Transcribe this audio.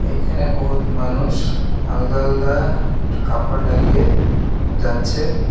এইখেনে বহুত মানুষ আলদা-আলদা ঠু কাপড় লাগিয়ে যাচ্ছে।